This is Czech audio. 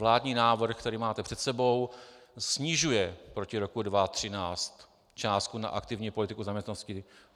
Vládní návrh který máte před sebou, snižuje proti roku 2013 částku na aktivní politiku zaměstnanosti.